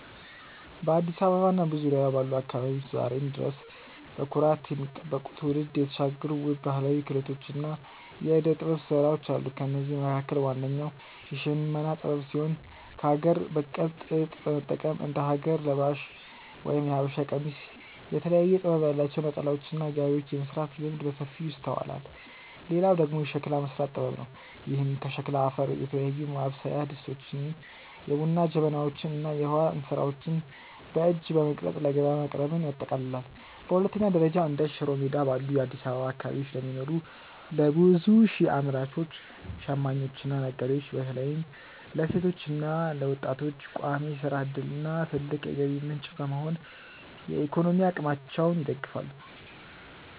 በአዲስ አበባ እና በዙሪያዋ ባሉ አካባቢዎች ዛሬም ድረስ በኩራት የሚጠበቁ፣ ትውልድ የተሻገሩ ውብ ባህላዊ ክህሎቶችና የዕደ-ጥበብ ሥራዎች አሉ። ከእነዚህም መካከል ዋነኛው የሽመና ጥበብ ሲሆን፣ ከአገር በቀል ጥጥ በመጠቀም እንደ ሀገር ለባሽ (የሀበሻ ቀሚስ)፣ የተለያየ ጥበብ ያላቸው ነጠላዎችና ጋቢዎችን የመሥራት ልምድ በሰፊው ይስተዋላል። ሌላው ደግሞ የሸክላ መሥራት ጥበብ ነው፤ ይህም ከሸክላ አፈር የተለያዩ ማብሰያ ድስቶችን፣ የቡና ጀበናዎችን እና የውሃ እንስራዎችን በእጅ በመቅረጽ ለገበያ ማቅረብን ያጠቃልላል። በሁለተኛ ደረጃ፣ እንደ ሽሮ ሜዳ ባሉ የአዲስ አበባ አካባቢዎች ለሚኖሩ ለብዙ ሺህ አምራቾች፣ ሽማኞችና ነጋዴዎች (በተለይም ለሴቶችና ለወጣቶች) ቋሚ የሥራ ዕድልና ትልቅ የገቢ ምንጭ በመሆን የኢኮኖሚ አቅማቸውን ይደግፋሉ።